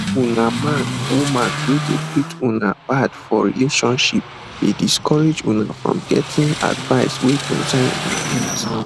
una man woman wey dey treat una bad for relationships dey discourage una from getting advice wey concern una health